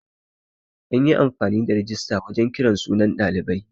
An yi amfani da rijista wajan kiran sunan ɗalibai.